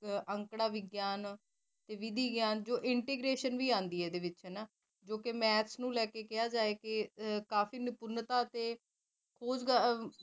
ਅੰਰਫਾ ਵਿਗਿਆਨ ਵਿਧੀ ਵਿਗਿਆਨ ਇੰਟੀਗ੍ਰੇਸ਼ਨ ਵੀ ਆਂਦੀ ਹਨਾ ਜੋ ਕਿ math ਲੈਕੇ ਕਿਹਾ ਜਾਵੇ ਕਾਫੀ ਨਿਪੁਨਤਾ ਅਤੇ